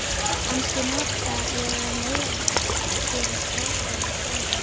Kannski nota ég það meira, gerist boðberi friðar.